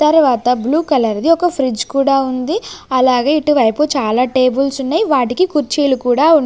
తరువాత blue colour ది ఒక ఫ్రిజ్ కూడా ఉంది అలాగే ఇటువైపు చాలా టేబుల్సున్నయ్ వాటికి కుర్చీలు కూడా ఉన్--